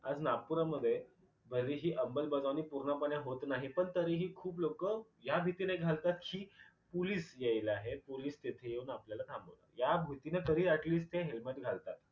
आज नागपूरामध्ये भलेही अंमलबजावणी पूर्णपणे होत नाही पण तरीही खूप लोक ह्या भीतीने घालतात कि पुलीस यायला आहेत पोलीस येतील आणि आपल्याला थांबवतील ह्या भीतीने तरी अटलिस्ट ते helmet घालतात.